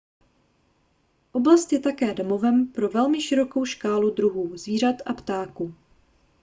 oblast je také domovem pro velmi širokou škálu druhů zvířat a ptáků